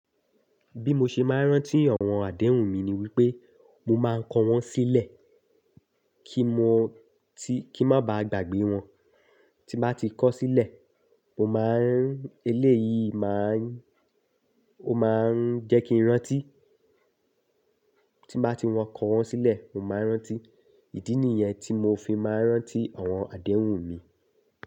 Bí mo ṣe máa ń rántí àwọn àdéhùn mi ni wípé mo máa ń kọ wọ́n sílẹ̀ kí mo ti, kí n má ba à gbàgbé wọn. Tí bá ti kọ sílẹ̀, mo máa ń, eléyìí máa ń, ó máa ń jẹ́ kí n rántí. Tí bá ti wọ́n kọ wọ́n sílẹ̀, mo máa ń rántí. Ìdí nìyẹn tí mo fi máa ń rántí àwọn àdéhùn mi.